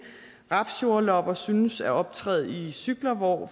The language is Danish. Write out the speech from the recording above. rapsjordlopper synes at optræde i cykler hvor